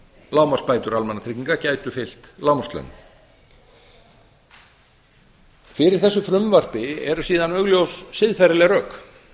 lágmarksbætur almannatrygginga gætu fylgt lágmarkslaunum fyrir þessu frumvarpi eru síðan augljós siðferðisleg rök